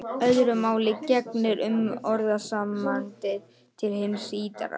Öðru máli gegnir um orðasambandið til hins ýtrasta.